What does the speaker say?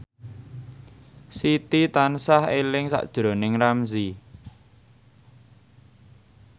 Siti tansah eling sakjroning Ramzy